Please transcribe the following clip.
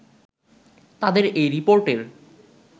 তাদের এই রিপোর্টের